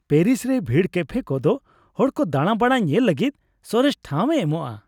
Paris ᱨᱮ ᱵᱷᱤᱲ ᱠᱮᱯᱷᱮ ᱠᱚᱫᱚ ᱦᱚᱲ ᱠᱚ ᱫᱟᱬᱟ ᱵᱟᱲᱟᱭ ᱧᱮᱞ ᱞᱟᱹᱜᱤᱫ ᱥᱚᱨᱮᱥ ᱴᱷᱟᱶᱮ ᱮᱢᱚᱜᱼᱟ ᱾